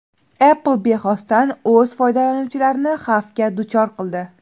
Apple bexosdan o‘z foydalanuvchilarini xavfga duchor qildi.